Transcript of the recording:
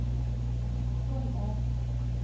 Svolvær